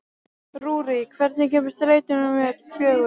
Rúrí, hvenær kemur strætó númer fjögur?